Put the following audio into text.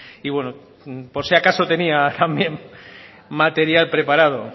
y bueno por si acaso tenía también material preparado